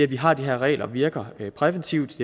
vi har de her regler virker præventivt